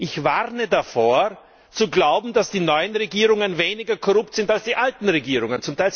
Ich warne davor zu glauben, dass die neuen Regierungen weniger korrupt sind als die alten Regierungen!